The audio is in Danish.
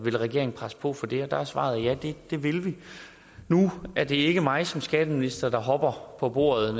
regeringen presse på for det og der er svaret ja det vil vi nu er det ikke mig som skatteminister der hopper på bordet